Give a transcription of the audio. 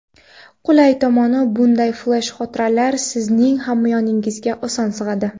Qulay tomoni, bunday flesh-xotiralar sizning hamyoningizga oson sig‘adi.